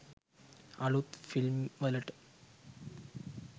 අලුත් ෆිල්ම් වලට.